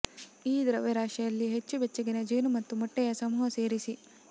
ಈ ದ್ರವ್ಯರಾಶಿಯಲ್ಲಿ ಹೆಚ್ಚು ಬೆಚ್ಚಗಿನ ಜೇನು ಮತ್ತು ಮೊಟ್ಟೆಯ ಸಮೂಹ ಸೇರಿಸಿ